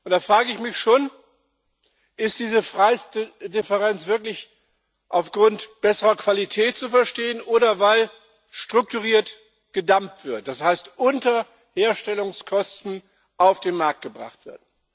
Da frage ich mich schon Ist diese Preisdifferenz wirklich aufgrund besserer Qualität zu verstehen oder weil strukturiert gedumpt wird, das heißt unter Herstellungskosten auf den Markt gebracht wird?